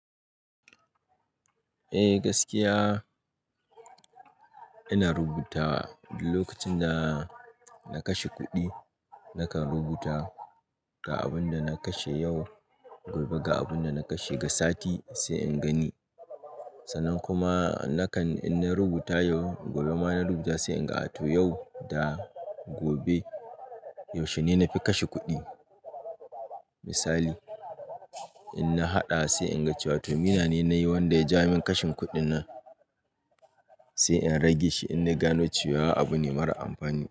Eh gaskiya ina rubuta lokacin da na kashe kuɗi nakan rubuta ga abin da na kashe yau gobe ga abin da na kashe ga sati sai in gani. Sannan kuma nakan in na rubuta yau gobe ma na rubuta sai in ga a to yau da gobe yaushe ne na fi kashe kuɗi. Misali in na haɗa sai in ga cewa to mina ne nayi wanda ya ja min kashin kuɗi na sai in rage shi in na gano cewa abu ne mara amfani.